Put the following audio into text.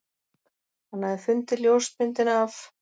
Hann hafði fundið ljósmyndina af